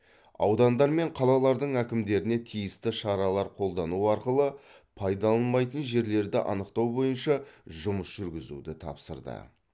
аудандар мен қалалардың әкімдеріне тиісті шаралар қолдану арқылы пайдаланылмайтын жерлерді анықтау бойынша жұмыс жүргізуді тапсырды